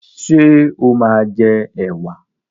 Ṣé o máa jẹ ẹwà?